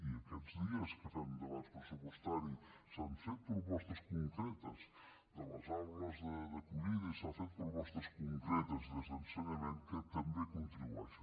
i aquests dies que fem debats pressupostaris s’han fet propostes concretes de les aules d’acollida i s’han fet propostes concretes des d’ensenyament que també hi contribueixen